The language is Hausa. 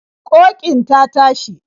Ƙoƙin ta tashi.